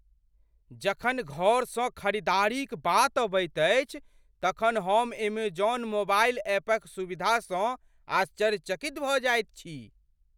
जखन घरसँ खरीदारीक बात अबैत अछि तखन हम एमेजौन मोबाइल ऐपक सुविधासँ आश्चर्यचकित भऽ जाइत छी।